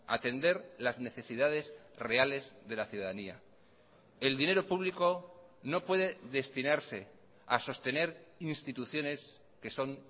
atender las necesidades reales de la ciudadanía el dinero público no puede destinarse a sostener instituciones que son